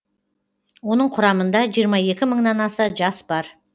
оның құрамында жиырма екі мыңнан аса жас бар